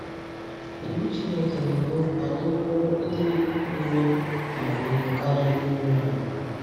Iwu Chineke na-eme ka anyị bụrụ ndị nwere amamihe karịa ndị iro anyị.